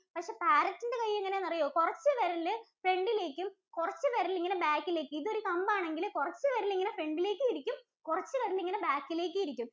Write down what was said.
പക്ഷെ Parrot ഇന്‍റെ കൈ എങ്ങനാണെന്ന് അറിയോ, കൊറച്ച് വിരല് front ലേക്കു, കൊറച്ച് വിരല് ഇങ്ങനെ back ഇലേക്കും. ഇതൊരു കമ്പാണെങ്കില് കൊറച്ച് വിരല് ഇങ്ങനെ front ഇലേക്കും ഇരിക്കും. കൊറച്ച് വിരല് ഇങ്ങനെ back ഇലേക്കും ഇരിക്കും.